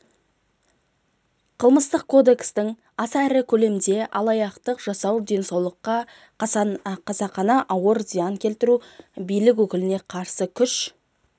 қылмыстық кодекстің аса ірі көлемде алаяқтық жасау денсаулыққа қасақана ауыр зиян келтіру билік өкіліне қарсы күш